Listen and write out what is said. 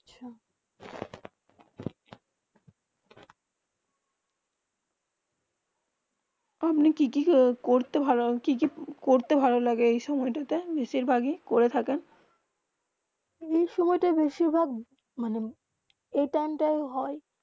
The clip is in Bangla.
আপনি কি কি করতে ভালো করতে ভালো লাগে এই সময়ে তা তে বেশি ভাগে করে থাকে এই সময়ে তে বেশি ভাগ মানে এই টাইম তা হয়ে